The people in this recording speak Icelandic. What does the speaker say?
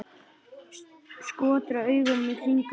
Skotra augunum í kringum mig.